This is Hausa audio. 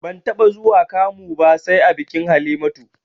Ban taɓa zuwa kamu ba sai a bikin Halimatu